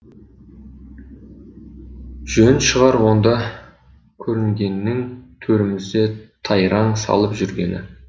жөн шығар онда көрінгеннің төрімізде тайраң салып жүргені